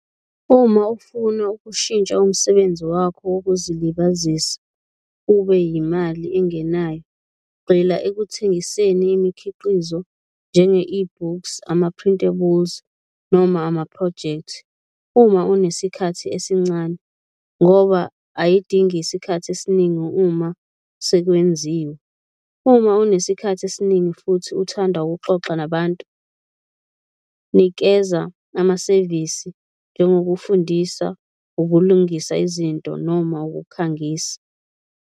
Uma ufuna ukushintsha umsebenzi wakho wokuzilibazisa ube yimali engenayo, gxila ekuthengiseni imikhiqizo njenge-e-books, ama-printables noma amaphrojekthi uma unesikhathi esincane ngoba ayidingi isikhathi esiningi uma sekwenziwe. Uma unesikhathi esiningi futhi uthanda ukuxoxa nabantu nikeza amasevisi njengokufundisa, ukulungisa izinto noma ukukhangisa.